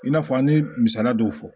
I n'a fɔ an ye misaliya dɔw fɔ